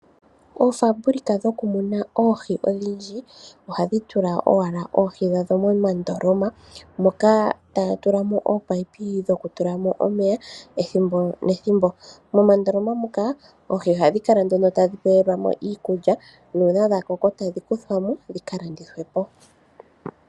Oofaalama dhokumuna oohi odhindji, ohaye dhi tula moondoloma moka muna ominino dhomeya gayela . Moondoloma muno ohadhi pelwamo iikulya, omiti. Uuna dhakoko nenge dhaadha okuyuulwamo, ohaye kedhi landithapo.